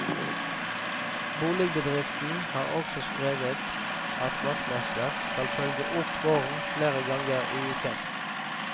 Boligbedriften har også skrevet at vaktmester skal følge opp gården flere ganger i uken.